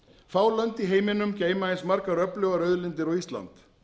fá lönd í heiminum geyma eins margar öflugar auðlindir og ísland